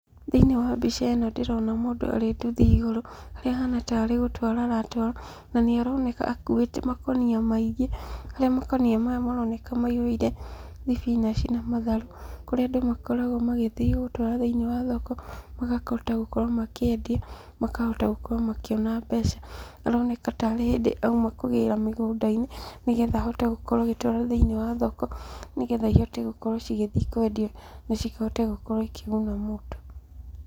Thĩinĩ wa mbica ĩno ndĩrona mũndũ arĩ nduthi igũrũ, harĩa ahana tarĩ gũtwara aratwara. Na nĩ aroneka akuĩte makũnia maingĩ, harĩa makũnia maya maroneka maiyũire thibinaci na matharũ, kũrĩa andũ makoragwo magĩthiĩ gũtwara thĩ-inĩ wa thoko, magakĩhota gũkorwo makĩendia, makahota gũkorwo makĩona mbeca. Aroneka ta arĩ hĩndĩ auma kũgĩra mĩgũnda-inĩ, nĩ getha ahote gũkorwo agĩtwara thĩ-ini wa thoko, nĩ getha ihote gũkorwo cigithiĩ kwendio, na cihote gũkorwo ikĩguna mũndũ.